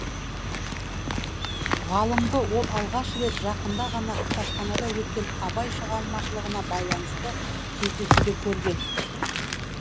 ғалымды ол алғаш рет жақында ғана кітапханада өткен абай шығармашылығына байланысты кездесуде көрген